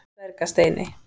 Dvergasteini